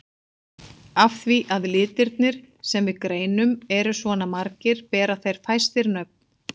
Af því að litirnir sem við greinum eru svona margir bera þeir fæstir nöfn.